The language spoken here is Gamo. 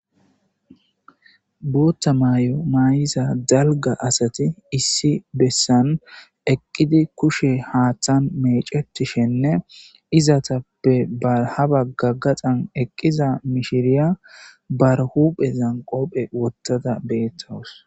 Bootta may'o may'iza dalga asati issi bessan eqqidi kushe haaththan mecetishenne izatappe barhaba gaggaxan eqqiza mishiriya barhuphe zanqopphe wottada beettawus.